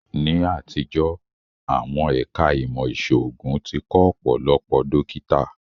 Ní àtijọ́, àwọn ẹ̀ká ìmọ̀ ìṣòògùn tí kọ́ Ọ̀pọ̀lọpọ̀ dókítà